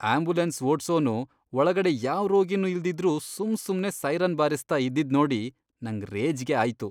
Ambulance ಓಡ್ಸೋನು ಒಳಗಡೆ ಯಾವ್ ರೋಗಿನೂ ಇಲ್ದಿದ್ರೂ ಸುಮ್ಸುಮ್ನೇ ಸೈರನ್ ಬಾರಿಸ್ತಾ ಇದ್ದಿದ್ನೋಡಿ ನಂಗ್ ರೇಜ್ಗೆ ಆಯ್ತು.